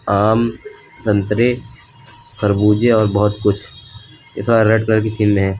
आम संतरे खरबूजे और बहोत कुछ रेड कलर की है।